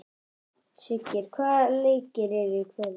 Siggeir, hvaða leikir eru í kvöld?